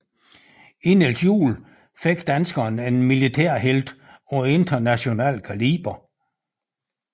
I Niels Juel fik danskerne en militærhelt af international kaliber